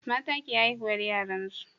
mata ke haihuwar yaran su